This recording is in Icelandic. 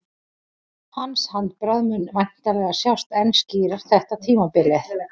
Hans handbragð mun væntanlega sjást enn skýrar þetta tímabilið.